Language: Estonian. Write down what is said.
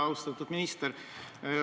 Austatud minister!